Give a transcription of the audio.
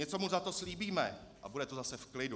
Něco mu za to slíbíme a bude to zase v klidu.